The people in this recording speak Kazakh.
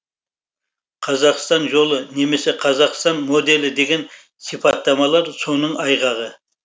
қазақстан жолы немесе қазақстан моделі деген сипаттамалар соның айғағы